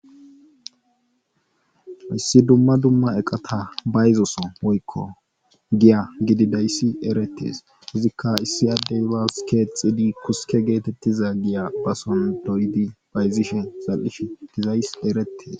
issi dumma dumma eqata bayzo soho woykko giya gididayssi eretes izikka issi adey bas keexidi kuske geetettida giya bason doyidi bayzzishe zal7ishe dizayssi erettes.